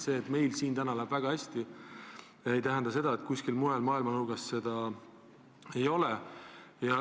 See, et meil siin läheb praegu väga hästi, ei tähenda seda, et kuskil mujal maailma nurgas nälga ei ole.